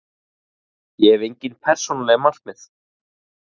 Ég hef engin persónuleg markmið.